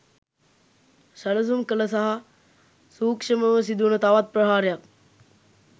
සැලසුම් කළ සහ සූක්ශමව සිදුවන තවත් ප්‍රහාරයක්